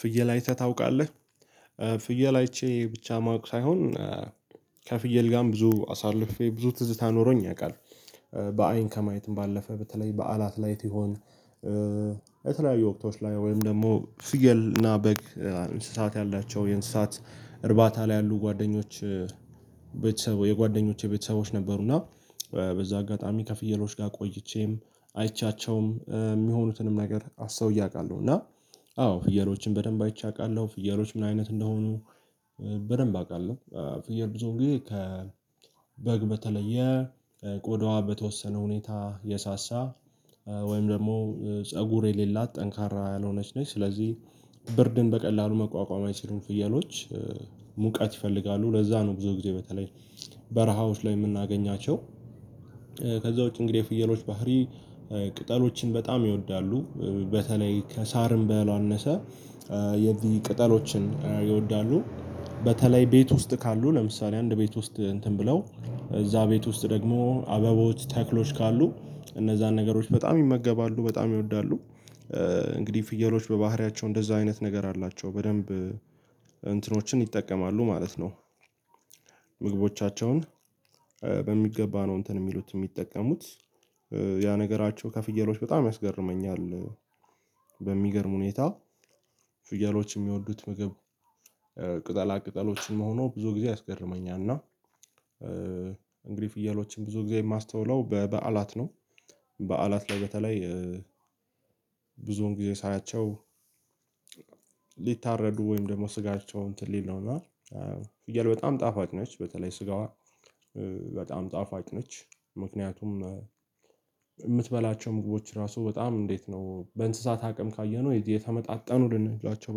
ፍየል አይተህ ታውቃለህ? ፍየል አይቼ ብቻ ማወቅ ሳይሆን ከፍየል ጋርም ብዙ አሳልፌ ብዙ ትዝታ ኖሮኝ ያውቃል። በአይን ከማየትም ባለፈ በተለይ በዓላት ላይት ይሆን። የተለያዩ ወቅቶች ላይ ወይም ደግሞ ፍየልና በግ እንስሳት ያላቸው የእንስሳት እርባታ ላይ ያሉ ጓደኞች ቤተሰብ የጓደኞቼ ቤተሰቦች ነበሩና በዛ አጋጣሚ ከፍየሎች ጋር ቆይቼም አይቻቸውም የሚሆኑትንም ነገር አስተውየ አቃለሁ። እና አዎ ፍየሎችን በደንብ አይቼ አውቃለሁ ፍየሎች ምን አይነት እንደሆኑ። በደንብ አቃለሁ ፍየል ብዙ ግን ከበግ በተለየ ቆዳዋ በተወሰነ ሁኔታ የሳሳ ወይም ደግሞ ፀጉር የሌላት ጠንካራ ያልሆነች ነች ስለዚህ ብርድን በቀላሉ መቋቋም አይችሉም ፍየሎች። ሙቀት ይፈልጋሉ ለዛ ነው ብዙ ጊዜ በተለይ በረሃዎች ላይ የምናገኛቸው። ከዛ ውጪ እንግዲህ የፍየሎች ባህሪ ቅጠሎችን በጣም ይወዳሉ በተለይ ከሳርም በል አነሰ የቅጠሎችን ይወዳሉ። በተለይ ቤት ውስጥ ካሉ ለምሳሌ አንድ ቤት ውስጥ እንትን ብለው እዛ ቤት ውስጥ ደግሞ አበቦች ተክሎች ካሉ እነዛን ነገሮች በጣም ይመገባሉ በጣም ይወዳሉ። እንግዲህ ፍየሎች በባህሪያቸው እንደዛ አይነት ነገር አላቸው በደንብ እንትኖችን ይጠቀማሉ ማለት ነው። ምግቦቻቸውን በሚገባ ነው እንትን የሚሉት የሚጠቀሙት ያ ነገራቸው ከፍየሎች በጣም ያስገርመኛል። በሚገርም ሁኔታ ፍየሎች የሚወዱት ምግብ ቅጠላ ቅጠሎችን መሆኑ ብዙ ጊዜ ያስገርመኛል እና ፍየሎችን ብዙ ጊዜ የማስተውለው በበዓላት ነው። በዓላት ላይ በተለይ ብዙዉን ጊዜ ሳያቸው ሊታረዱ ወይም ደግሞ ስጋቸው እንትን ሊለው ነው እና ፍየል በጣም ጣፋጭ ነች በተለይ ስጋዋ በጣም ጣፋጭ ነች። ምክንያቱም የምትበላቸው ምግቦች ራሱ በጣም እንዴት ነው በእንስሳት አቅም ካየነው የተመጣጣኑ ልንሏቸው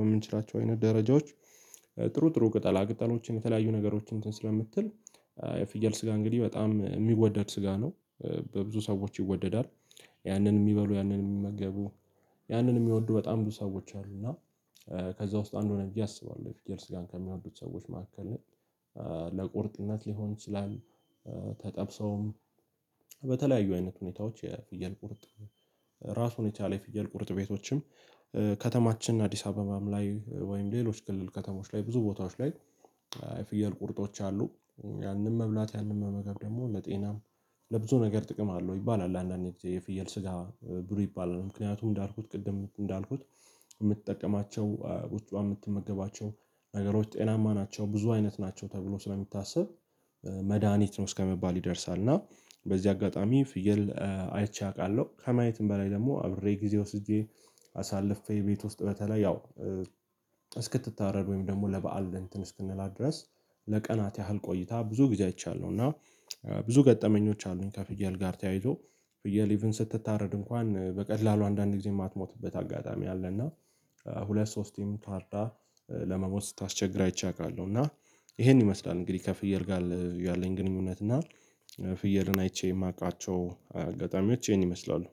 በምንችላቸው አይነት ደረጃዎች ጥሩ ጥሩ ቅጠል ቅጠሎችን የተለያዩ ነገሮችን እንትን ስለምትል የፍየል ስጋ እንግዲህ በጣም የሚወደድ ስጋ ነው። በብዙ ሰዎች ይወደዳል ያንን የሚበሉ ያንን የሚመገቡ ያንን የሚወዱ በጣም ብዙ ሰዎች አሉ እና ከዛ ውስጥ አንዱ ነኝ ብዬ አስባለሁ የፍየል ስጋን ከሚወዱት ሰዎች መካከል ነኝ። ለቁርጥነት ሊሆን ይችላል ተጠብሰውም በተለያዩ አይነት ሁኔታዎች የፍየል ቁርጥ ራሱን የቻለ የፍየል ቁርጥ ቤቶችም ከተማችን አዲስ አበባም ላይ ወይም ሌሎች ክልል ከተሞች ላይ ብዙ ቦታዎች ላይ የፍየል ቁርጦች አሉ። ያንን መብላት ያንን መመገብ ደግሞ ለጤናም ለብዙ ነገር ጥቅም አለው ይባላል አንዳንዴ የፍየል ስጋ ብሉ ይባላል ምክንያቱም እንዳልኩት ቅድም እንዳልኩት የምትጠቀማቸው ውስጧ የምትመገባቸው ነገሮች ጤናማ ናቸው ብዙ አይነት ናቸው ተብሎ ስለሚታሰብ መድሃኒት ነው እስከመባል ይደርሳል። እና በዚህ አጋጣሚ ፍየል አይቼ አውቃለሁ ከማየትም በላይ ደግሞ አብሬ ጊዜ ወስጄ አሳልፌ ቤት ውስጥ በተለይ ያው እስክትታረድ ወይም ደግሞ ለበአል እንትን እስክንላት ድረስ ለቀናት ያህል ቆይታ ብዙ ጊዜ አይቻለሁ እና ብዙ ገጠመኞች አሉኝ ከፍያል ጋር ተያይዞ ፍያል ኢቭን ስትታረድ እንኳን በቀላሉ አንዳንድ ጊዜ የማትሞትበት አጋጣሚ አለ እና ሁለት ሶስቴም ታርዳ ለመሞት ስታስቸግር አይቼ አቃለሁ። እና ይሄን ይመስላል እንግዲህ ከፍየል ጋር ያለኝ ግንኙነት እና ፍየልን አይቼ የማቃቸው አጋጣሚዎች ይህን ይመስላሉ